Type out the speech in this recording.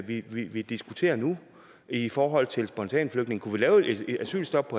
vi vi diskuterer nu i forhold til spontanflygtninge kunne vi lave et asylstop